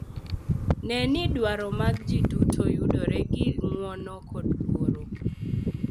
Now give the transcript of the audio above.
Ne ni dwaro mag ji duto yudore gi ng’uono kod luor.